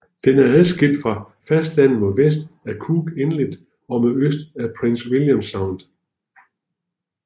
Den er adskilt fra fastlandet mod vest af Cook Inlet og mod øst af Prince William Sound